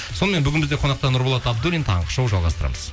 сонымен бүгін бізде қонақта нұрболат абдуллин таңғы шоу жалғастырамыз